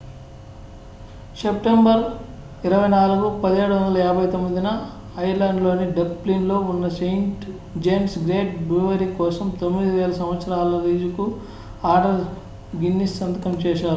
September 24 1759 న Ireland లోని Dublin లో ఉన్న సెయింట్ జేమ్స్ గేట్ బ్రూవరీ కోసం 9,000 సంవత్సరాల లీజుకు ఆర్థర్ గిన్నిస్ సంతకం చేశారు